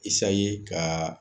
ka.